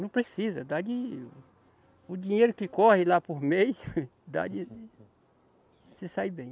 Não precisa, dá de, o dinheiro que corre lá por mês, dá de... Se sai bem.